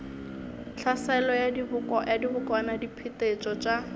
tlhaselo ya dibokwana diphetetšo tša